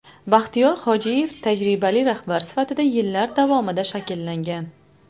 Baxtiyor Hojiyev tajribali rahbar sifatida yillar davomida shakllangan.